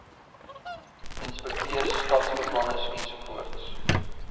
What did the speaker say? inspekteurs stadsbeplanners ensovoorts